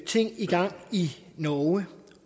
ting i gang i norge